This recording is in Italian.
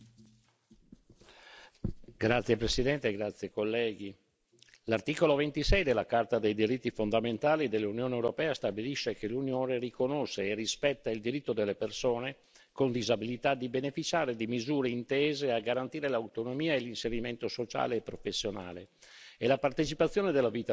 Signor Presidente, onorevoli colleghi, l'articolo 26 della Carta dei diritti fondamentali dell'Unione europea stabilisce che l'Unione riconosce e rispetta il diritto delle persone con disabilità di beneficiare di misure intese a garantire l'autonomia e l'inserimento sociale e professionale e la partecipazione della vita in comunità.